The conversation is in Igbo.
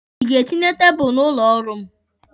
Ị ga-etinye tebụlụ n'ụlọ ọrụ m?